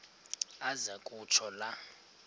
aze kutsho la